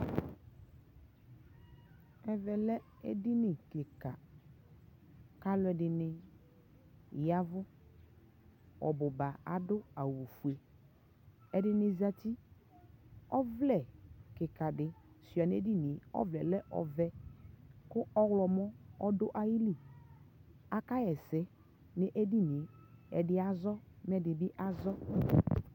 ɛvɛ lɛ ɛdini kikaa kʋ alʋɛdini yavʋ, ɔbʋ ba adʋ awʋ ƒʋɛ, ɛdini zati, ɔvlɛ kikaa di sʋa nʋ ɛdiniɛ ɔvlɛ lɛ ɔvɛ kʋ ɔwlɔmʋ ɔdʋ ayili aka yɛsɛ nʋ ɛdiniɛ, ɛdi azɔ mɛ ɛdi azɔ